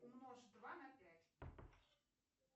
умножь два на пять